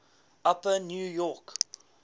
upper new york